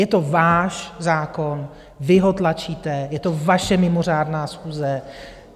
Je to váš zákon, vy ho tlačíte, je to vaše mimořádné schůze.